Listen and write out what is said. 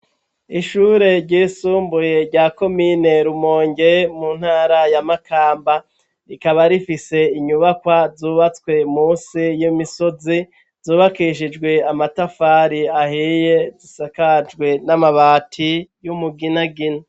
Ishure ryisumbuye rya komine rumonge mu ntara ya makamba rikaba rifise inyubakwa zubatswe musi y'imisozi zubakishijwe amatafari ahiye zisakajwe n'amabati y'umuginagina.